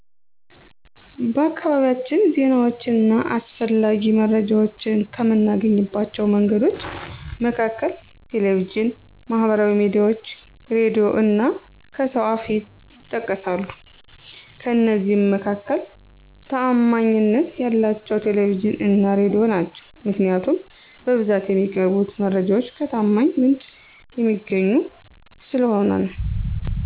በአካባቢያችን ዜናዎችን እና አስፈላጊ መረጃዎችን ከምናገኝባቸው መንገዶች መካከል ቴሌቪዥን፣ ማህበራዊ ሚዲያዎች፣ ሬዲዮ እና ከሰው አፍ ይጠቀሳሉ፤ ከእነዚህ መካከል ታዓማኒነት ያላቸው ቴሌቪዥን እና ሬዲዮ ናቸው። ምክንያቱም በብዛት የሚቀርቡት መረጃዎች ከታማኝ ምንጭ የሚገኙ ስለሆኑ ነው።